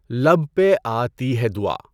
لب پہ آتی ہے دعا